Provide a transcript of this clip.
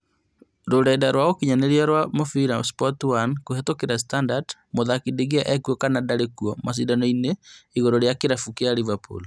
Rũrenda rwa ũkinyanĩria rwa mũbira Sport 1 kũhetũkĩra Standard, Mũthaki De Gea ekuo kana ndarĩ kuo macindano-inĩ igũrũ rĩa kĩrabu kĩa Liverpool?